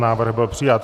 Návrh byl přijat.